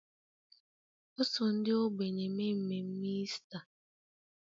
O so ndị ogbenye mee mmemme Ista